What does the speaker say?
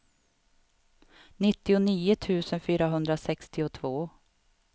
nittionio tusen fyrahundrasextiotvå